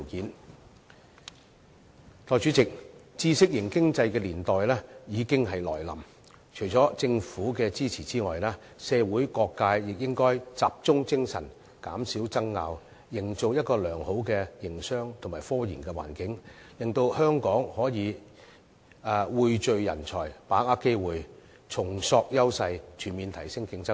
代理主席，知識型經濟的年代已經來臨，除了政府支持之外，社會各界亦應該集中精力，減少爭拗，營造一個良好的營商及科研環境，令香港可以匯聚人才、把握機會、重塑優勢，全面提升競爭力。